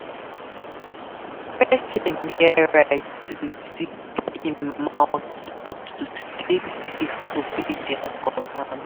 Persin get right to zip im mouth but to stay safe obey their command